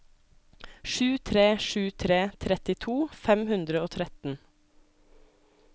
sju tre sju tre trettito fem hundre og tretten